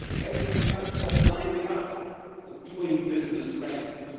African countries are climbing up the doing business' rankings.